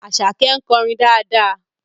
Àṣàkẹ́ ń kọrin dáadáa